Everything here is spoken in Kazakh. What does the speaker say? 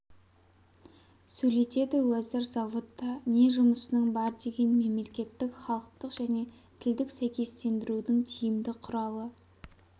сөйлетеді уәзір заводта не жұмысының бар деген мемлекеттік халықтық және тілдік сәйкестендірудің тиімді құралы